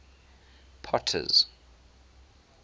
potter's